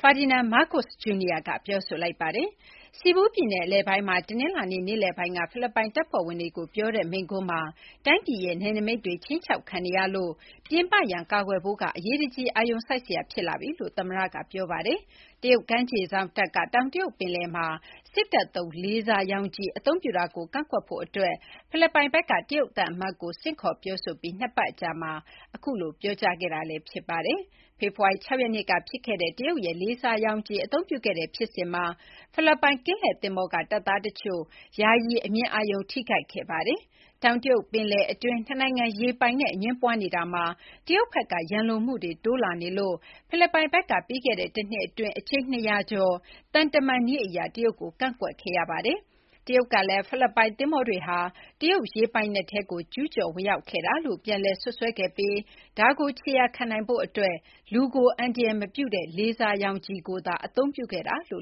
ဖာဒီနန်မားကိုစ့် ဂျူနီယာက ပြောလိုက်ပါတယ်။ စီဘူပြည်နယ်အလယ်ပိုင်းမှာ တနင်္လာနေ့ နေ့လည်ပိုင်းက ဖိလစ်ပိုင်းတပ်ဖွဲ့ဝင်တွေကို ပြောတဲ့မိန့်ခွန်းမှာ တိုင်းပြည်ရဲ့ နယ်နမိတ်တွေ ခြိမ်းခြောက်ခံနေရလို့ ပြင်ပရန် ကာကွယ်ဖို့ က အရေးတကြီး အာရုံစိုက်စရာ ဖြစ်လာပြီလို့ သမ္မတက ဆိုပါတယ်။ တရုတ်ကမ်းခြေစောင့်တပ်က တောင်တရုတ်ပင်လယ်မှာ စစ်တပ်သုံး လေဆာရောင်ခြည် အသုံးပြုတာကို ကန့်ကွက်ဖို့အတွက် ဖိလစ်ပိုင်ဘက်က တရုတ်သံအမတ်ကို ဆင့်ခေါ်ပြောဆိုပြီး နှစ်ပတ်အကြာမှာ အခုလို ပြောကြားခဲ့တာလည်းဖြစ်ပါတယ်။ ဖေဖော်ဝါရီ ၆ ရက်နေ့က ဖြစ်ခဲ့တဲ့ တရုတ်ရဲ့ လေဆာရောင်ခြည် အသုံးပြုခဲ့တဲ့ ဖြစ်စဉ်မှာ ဖိလစ်ပိုင်ကင်းလှည့်သင်္ဘောက တပ်သားတချို့ ယာယီ အမြင်အာရုံထိခိုက်ခဲ့ပါတယ်။ တောင်တရုတ်ပင်လယ် အတွင်း နှစ်နိုင်ငံ ရေပိုင်နက် အငြင်းပွားနေတာမှာ တရုတ်ဘက်က ရန်လိုမှုတွေ တိုးလာနေလို့ ဖိလစ်ပိုင်ဘက်က ပြီးခဲ့တဲ့ တနှစ်အတွင်း အကြိမ် ၂၀၀ ကျော် သံတမန်နည်းအရ တရုတ်ကို ကန့်ကွက်ခဲ့ရပါတယ်။ တရုတ်ကလည်း ဖိလစ်ပိုင်သင်္ဘောတွေဟာ တရုတ်ရေပိုင်နက်ထဲကို ကျူးကျော်ဝင်ရောက်ခဲ့တာလို့ ပြန်လည် စွပ်စွဲခဲ့ပြီး ဒါကို ခြေရာခံနိုင်ဖို့အတွက် လူကို အန္တရာယ် မပြုနိုင်တဲ့ လေဆာရောင်ခြည်ကိုသာ အသုံးပြုခဲ့တာလိ